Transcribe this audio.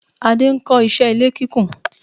Adé ń kó iṣé ilé kíkún.